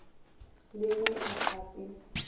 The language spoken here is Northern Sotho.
le ge e ka se